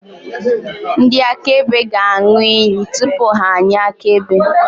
Ndị akaebe ga-aṅụ iyi tupu ha enye akaebe.